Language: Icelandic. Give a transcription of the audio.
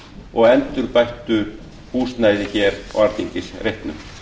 og endurbættu húsnæði hér á reitnum